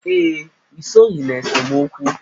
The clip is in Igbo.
Ee, I soghi n'esemokwu.